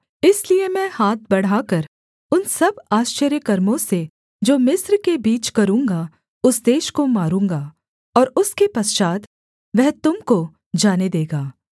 इसलिए मैं हाथ बढ़ाकर उन सब आश्चर्यकर्मों से जो मिस्र के बीच करूँगा उस देश को मारूँगा और उसके पश्चात् वह तुम को जाने देगा